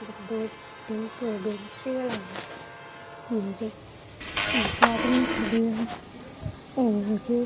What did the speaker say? दो तीन तो ए बैटरी आला है हेर एक आदमी खड़यो है और --